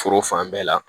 Foro fan bɛɛ la